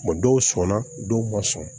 dɔw sɔnna dɔw ma sɔn